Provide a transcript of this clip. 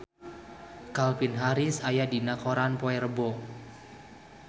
Calvin Harris aya dina koran poe Rebo